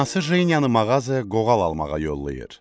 Anası Jeniyanı mağazaya qoğal almağa yollayır.